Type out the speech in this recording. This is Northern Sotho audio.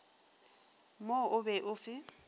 mo o be o fe